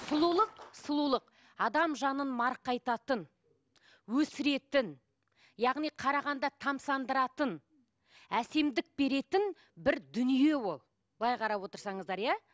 сұлулық сұлулық адам жанын марқайтатын өсіретін яғни қарағанда тамсандыратын әсемдік беретін бір дүние ол былай қарап отырсаңыздар иә